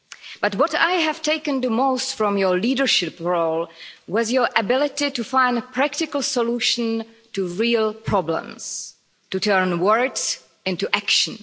But what I have taken the most from your leadership role was your ability to find a practical solution to real problems, to turn words into action.